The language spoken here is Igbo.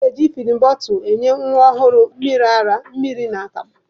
A na-eji fidin bọtụlụ enye nwa ọhụrụ mmiri ara, mmiri na akamụ.